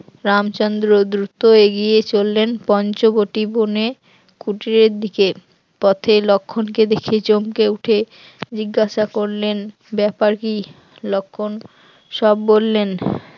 রামচন্দ্র দ্রুত এগিয়ে চললেন পঞ্চবটি বনে কুটিরের দিকে, পথে লক্ষণকে দেখে চমকে উঠে জিজ্ঞাসা করলেন ব্যাপার কি? লক্ষণ সব বললেন